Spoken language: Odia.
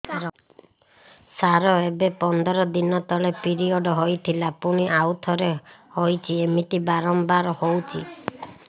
ସାର ଏବେ ପନ୍ଦର ଦିନ ତଳେ ପିରିଅଡ଼ ହୋଇଥିଲା ପୁଣି ଆଉଥରେ ହୋଇଛି ଏମିତି ବାରମ୍ବାର ହଉଛି